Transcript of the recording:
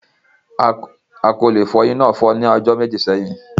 Agolo ìfọyín náà fọ́ ní ọjọ́ méjì sẹ́yìn.